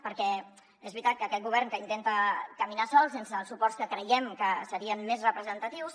perquè és veritat que aquest govern que intenta caminar sol sense els suports que creiem que serien més representatius